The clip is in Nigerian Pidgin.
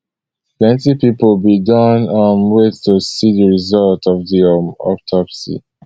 plenti pipo bin don um wait to see di result um of di autopsy